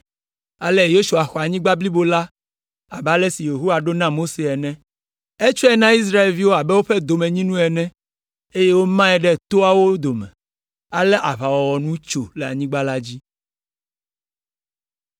Ale Yosua xɔ anyigba blibo la abe ale si Yehowa ɖo na Mose ene. Etsɔe na Israelviwo abe woƒe domenyinu ene, eye wòmae ɖe toawo dome. Ale aʋawɔwɔ nu tso le anyigba la dzi.